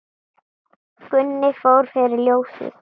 Gunni fór fyrir ljósið.